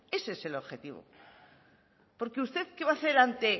ese es el objetivo porque usted qué va a hacer ante